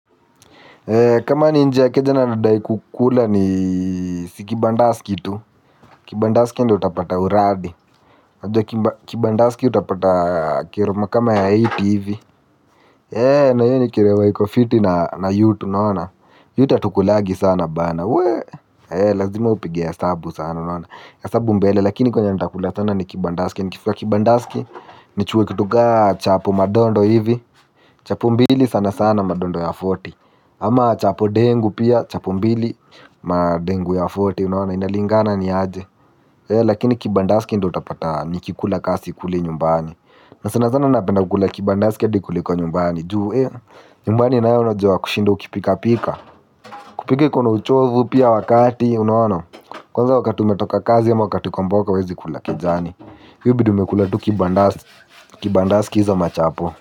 Kama ni nje ya keja na nadai kukula ni si kibandaski tu. Kibandaski ndio utapata uradi. Kibandaski utapata keroma kama ya eighty hivi. Na hio ni keroma iko fiti na yut unaona. Yut atukulagi sana bana we. Lazima upige esabu sana unaona. Esabu mbele lakini kwenye nitakula sana ni kibandaski nikifika kibandaski nichukue kitu kaa chapo madondo hivi. Chapu mbili sana sana madondo ya arobaini. Ama chapo dengu pia chapo mbili na dengu ya arobaini unaona inalingana ni aje. Lakini kibandaski ndio utapata nikikula ka sikuli nyumbani. Na sana sana napenda kukula kibandaski adi kuliko kwa nyumbani. Juu nyumbani nayo najuwa kushinda ukipika pika. Kupika iko na uchovu pia wakati unaona. Kwanza wakati umetoka kazi ama wakati uko mboka huwezi kula kejani. Hiyo hubidi umekula tu kibandaski za machapo.